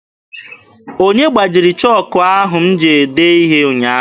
Onye gbajiri chọọkụ a m ji dee ihe ụnyaahụ?